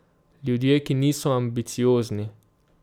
Ljudje, ki niso ambiciozni.